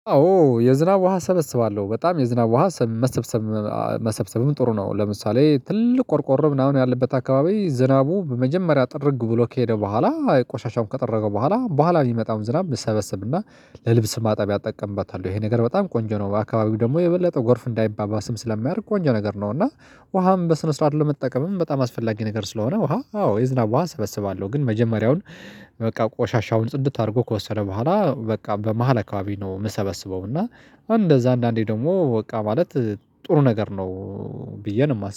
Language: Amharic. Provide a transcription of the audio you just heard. አዎ የዝናብ ውሃ ሰበስባለሁ በጣም የዝናብ ውሃ መሰብሰብ መሰብሰብም ጥሩ ነው። ለምሳሌ ትልቅ ቆርቆሮ ምናምን ያለበት አካባቢ ዝናቡ በመጀመሪያ ጥርግ ብሎ ከሄደ በኋላ ቆሻሻውም ከጠረገ በኋላ በኋላ የሚመጣውን ዝናብ እሰበስብና እና ለልብስ ማጠብ እጠቀምበታለሁ ይሄ ነገር በጣም ቆንጆ ነው። አካባቢው ደግሞ የበለጠ ጎርፍ እንዳይባባስም ስለሚያደርግ ቆንጆ ነገር ነው። እና ውሃም በስነ ስርዓት ለመጠቀምም በጣም አስፈላጊ ነገር ስለሆነ ውሃ አዎ የዝናብ ውሃ ሰበስባለሁ። ግን መጀመሪያውን በቃ ቆሻሻውን ጽድት አድርጎ ከወሰደ በኋላ በቃ በመሃል አካባቢ ነው። የምሰበስበው እና እንደዛ አንዳንዴ ደግሞ በቃ ማለት ጥሩ ነገር ነው ብዬ ነው